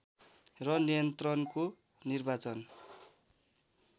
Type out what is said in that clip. र नियन्त्रणको निर्वाचन